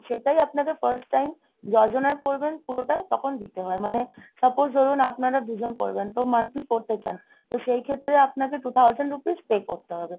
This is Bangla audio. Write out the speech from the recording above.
সেটাই আপনাকে first time যজনার পড়বেন পুরোটা তখন দিতে হয়। মানে ধরুন আপনারা দুজন পড়বেন তো monthly করতে চান তো সেই ক্ষেত্রে আপনাকে two thousand rupees pay করতে হবে.